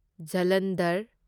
Jalandhar